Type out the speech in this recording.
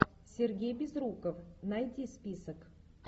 сергей безруков найди список